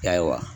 Ayiwa